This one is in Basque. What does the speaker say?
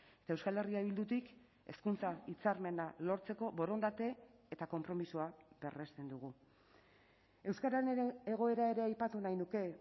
eta euskal herria bildutik hezkuntza hitzarmena lortzeko borondate eta konpromisoa berresten dugu euskararen egoera ere aipatu nahi nuke